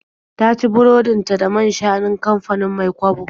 Ta ci burodin ta da man-shanun kamfanin Mai-kwabo.